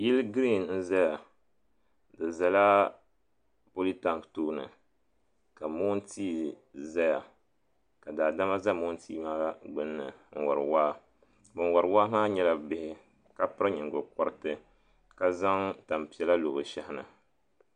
Yili girin n zaya di zala politanki tooni ka moontia zaya ka daadama za moontia maa gbinni n wari waa ban wari waa maa nyɛla bihi ka ka piri nyingo kɔriti ka zaŋ tampiɛla lo bɛ shɛhini.